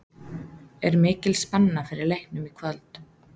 Er mikil spenna fyrir leiknum í kvöld?